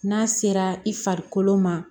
N'a sera i farikolo ma